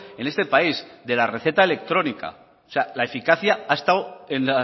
en este país de la receta electrónica o sea la eficacia ha estado en